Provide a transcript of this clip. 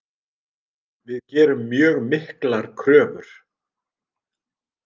Við gerum mjög miklar kröfur.